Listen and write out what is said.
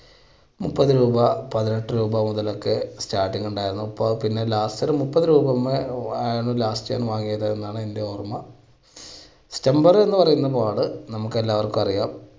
മുപ്പത് രൂപ, പതിനെട്ട് രൂപ ഇതിനൊക്കെ starting ഉണ്ടായിരുന്നു ഇപ്പോൾ പിന്നെ last ഒരു മുപ്പത് രൂപ last വാങ്ങിയത് എന്നാണ് എൻറെ ഓർമ്മ stumper എന്ന് പറയുന്ന ball നമുക്കെല്ലാവർക്കും അറിയാം,